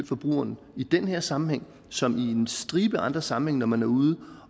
forbrugeren i den her sammenhæng som i en stribe af andre sammenhænge når man er ude